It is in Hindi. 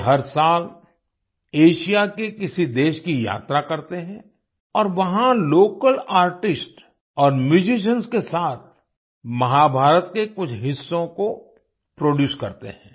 वे हर साल एशिया के किसी देश की यात्रा करते हैं और वहां लोकल आर्टिस्ट और म्यूजिशियन्स के साथ महाभारत के कुछ हिस्सों को प्रोड्यूस करते हैं